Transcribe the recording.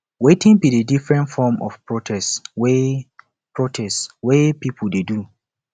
wetin be di different forms of protest way protest way people dey do